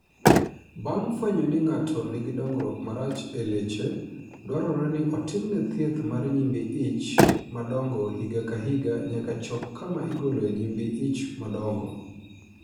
Bang ' fwenyo ni ng'ato nigi dongruok marach e leche dwarore ni otimne thiedh mar nyimbi ich madongo higa ka higa nyaka chop kama igoloe nyimbi ich madongo